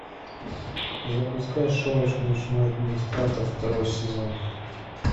запускай шоу ночной администратор второй сезон